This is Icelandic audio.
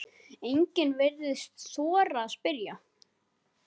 Enginn virtist þora að spyrja